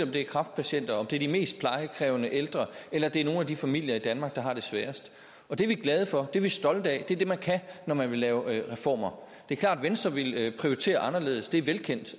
det er kræftpatienter om det er de mest plejekrævende ældre eller det er nogle af de familier i danmark der har det sværest og det er vi glade for det er vi stolte af det er det man kan når man vil lave reformer det er klart at venstre ville prioritere anderledes det er velkendt